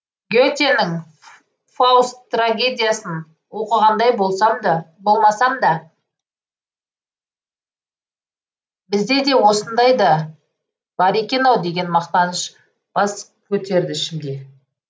ге тенің фауст трагедиясын оқығандай болмасам да бізде де осындай да бар екен ау деген мақтаныш бас көтерді ішімде